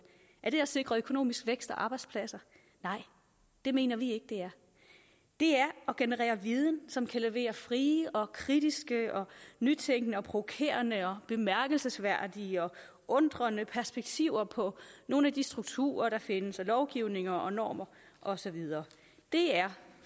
er det at sikre økonomisk vækst og arbejdspladser nej det mener vi ikke det er det er at generere viden som kan levere frie og kritiske og nytænkende og provokerende og bemærkelsesværdige og undrende perspektiver på nogle af de strukturer der findes og lovgivninger og normer og så videre det er